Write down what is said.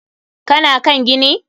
Ka na kan gini?